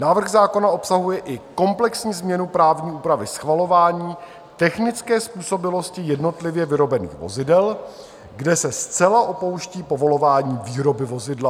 Návrh zákona obsahuje i komplexní změnu právní úpravy schvalování technické způsobilosti jednotlivě vyrobených vozidel, kde se zcela opouští povolování výroby vozidla.